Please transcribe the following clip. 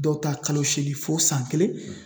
Dɔw ta kalo seegin fo san kelen